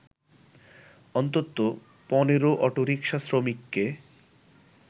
অন্তত ১৫ অটোরিকশা শ্রমিককে